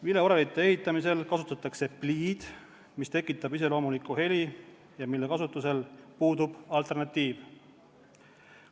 Vileorelite ehitamisel kasutatakse pliid, mis tekitab iseloomulikku heli ja mille kasutusel puudub alternatiiv.